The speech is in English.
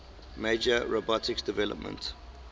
major robotics developments